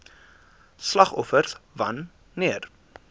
slagoffers wan neer